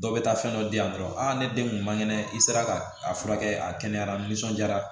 Dɔw bɛ taa fɛn dɔ di yan nɔ dɔrɔn aa ne den kun man kɛnɛ i sera ka a furakɛ a kɛnɛyara nisɔndiyara